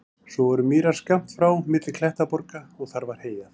Svo voru mýrar skammt frá milli klettaborga og þar var heyjað.